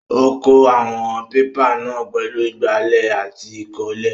Ó kó àwọn pépà náà pẹ̀lú ìgbálẹ̀ àti ìkọ́lé.